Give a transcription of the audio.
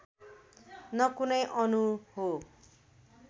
न कुनै अणु हो